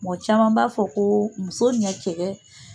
Mɔgɔ caman b'a fɔ ko muso nin ya cɛkɛ